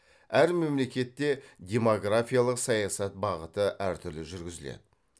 әр мемлекетте демографиялық саясат бағыты әр түрлі жүргізіледі